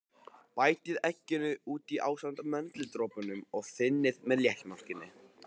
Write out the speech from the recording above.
Bætið egginu út í ásamt möndludropunum og þynnið með léttmjólkinni.